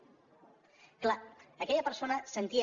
és clar aquella persona sentia